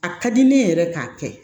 A ka di ne yɛrɛ k'a kɛ